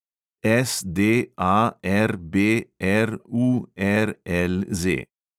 SDARBRURLZ